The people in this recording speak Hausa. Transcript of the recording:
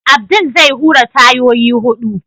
Abdul zai hura tayoyi hudu.